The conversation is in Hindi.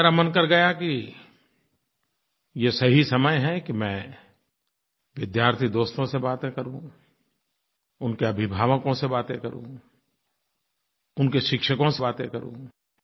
तो मेरा मन कर गया कि ये सही समय है कि मैं विद्यार्थी दोस्तों से बातें करूँ उनके अभिवावकों से बातें करूँ उनके शिक्षकों से बातें करूँ